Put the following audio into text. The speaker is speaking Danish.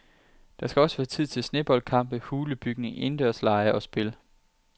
Der skal også være tid til sneboldkampe, hulebygning, indendørslege og spil.